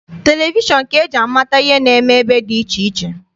Televishọn ka eji amata ihe na-eme ebe dị iche iche.